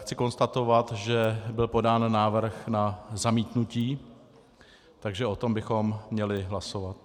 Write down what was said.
Chci konstatovat, že byl podán návrh na zamítnutí, takže o tom bychom měli hlasovat.